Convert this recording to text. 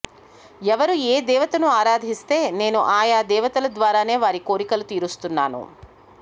ఎవరు ఏ దేవతను ఆరాధిస్తే నేను ఆయా దేవతల ద్వారానే వారి కోరికలు తీరుస్తున్నాను